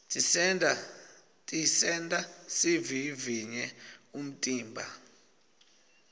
tisenta sivivivye umtimba